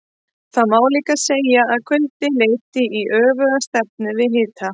Því má líka segja að kuldi leiti í öfuga stefnu við hita.